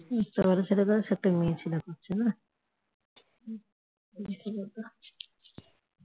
ব্যাটাছেলের কাজ একটা মেয়েছেলে করছে